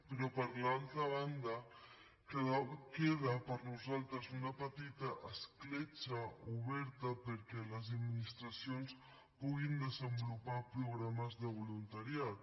però per l’altra banda queda per nosaltres una petita escletxa oberta perquè les administracions puguin desenvolupar programes de voluntariat